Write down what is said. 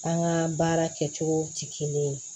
An ka baara kɛcogo tɛ kelen ye